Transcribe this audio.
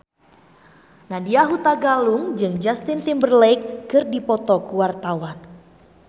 Nadya Hutagalung jeung Justin Timberlake keur dipoto ku wartawan